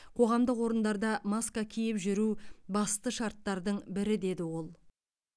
қоғамдық орындарда маска киіп жүру басты шарттардың бірі деді ол